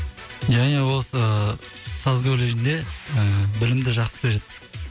ия ия осы саз колледжінде ііі білімді жақсы береді